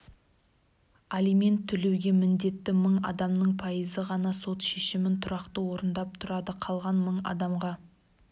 алимент төлеуге міндетті мың адамның пайызы ғана сот шешімін тұрақты орындап тұрады қалған мың адамға